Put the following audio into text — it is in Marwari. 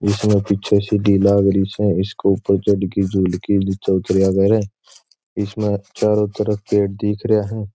इसमें पीछे सीढ़ी लागरी से इसके ऊपर इसमें चारो तरफ पेड़ दिख रिया है।